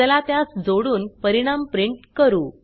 चला त्यास जोडुन परिणाम प्रिंट करू